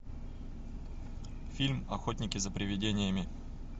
фильм охотники за привидениями